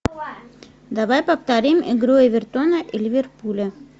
давай повторим игру эвертона и ливерпуля